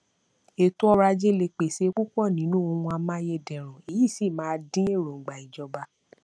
ètò ọrọajé lè pèse púpọ nínú ohun amáyédẹrùn èyí sì ma dín èròǹgbà ìjọba